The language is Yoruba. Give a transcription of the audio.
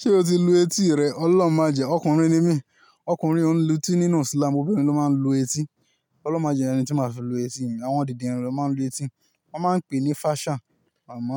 Ṣé o ti lu etí rẹ? Ọlọ́run májẹ̀ẹ́, ọkùnrin ni mí, ọkùnrin ò ń lutí nínú Islam, obìnrin ló máa ń lu etí. Ọlọ́run májẹ̀ẹ́ ri ohun tí máa fi lu etí mi. Àwọn dindinrin ló máa ń lu etí, wọ́n máa ń pè é ní fashion. Àmoo,